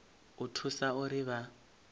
u vha thusa uri vha